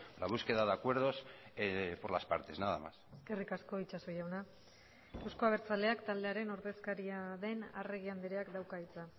la búsqueda de acuerdos por las partes nada más eskerrik asko itxaso jauna euzko abertzaleak taldearen ordezkaria den arregi andreak dauka hitza